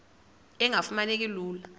engafuma neki lula